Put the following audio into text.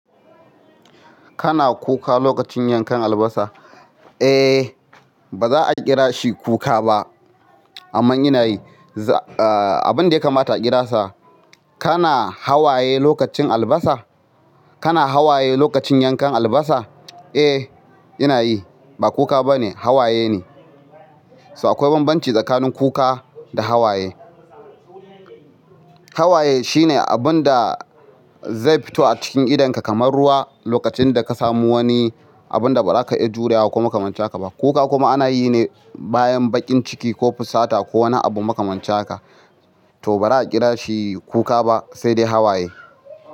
Kana kuka lokacin yankan albasa? Eh, ba za a kira shi kuka ba, amma ina yi. Abin da ya kamata a kira sa, kana hawaye lokacin albasa? Kana hawaye lokacin yankan albasa? Eh, ina yi. Ba kuka ba ne, hawaye ne. So akwai banbanci tsakanin kuka da hawaye, hawaye shine abin da zai fito a cikin idonka kamar ruwa lokacin da ka samu wani abin da ba za ka iya jurewa ko makamancin haka ba. Kuka kuma ana yi ne bayan bakin ciki ko fusata ko wani abu makamancin haka ka. To ba za a kira shi kuka ba, sai dai hawaye.